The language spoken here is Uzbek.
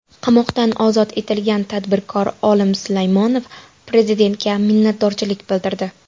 Qamoqdan ozod etilgan tadbirkor Olim Sulaymonov prezidentga minnatdorchilik bildirdi .